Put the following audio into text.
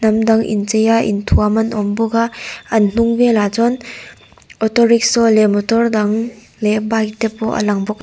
hnam dang inchei a inthuam an awm bawk a an hnung velah chuan auto rickshaw leh motor dang leh bike tepawh a lang bawk.